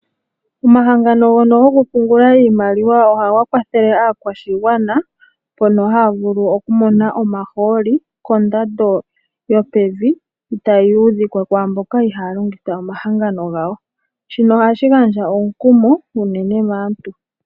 Omahangano ngono gokupungula iimaliwa ohaga kwathele aakwashigwana mpono haya vulu okumona omahooli kondando yopevi itaa yi ludhikwa kwaamboka ihaya longitha omahangano gawo, shino ohashi gandja omukumo unene maantu.